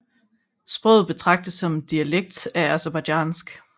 Sproget betragtes som en dialekt af Aserbajdsjansk